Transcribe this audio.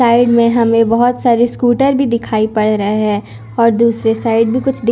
side में हमें बहुत सारी स्कूटर भी दिखाई पड़ रहे हैं और दूसरे साइड भी कुछ दिख--